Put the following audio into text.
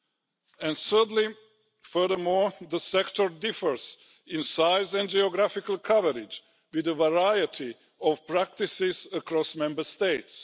Thirdly, furthermore the sector differs in size and geographical coverage, with a variety of practices across Member States.